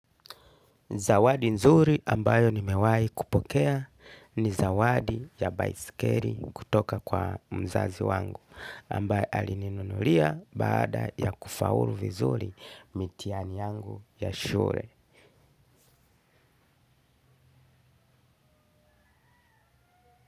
Zawadi nzuri ambayo nimewahi kupokea, ni zawadi ya baiskeli kutoka kwa mzazi wangu. Ambayo alininunulia baada ya kufaulu vizuri mitihani yangu ya shule.